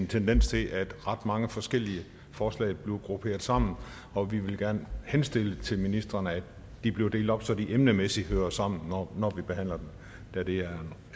en tendens til at ret mange forskellige forslag bliver grupperet sammen og vi vil gerne henstille til ministrene at de bliver delt op så de emnemæssigt hører sammen når vi behandler dem da det er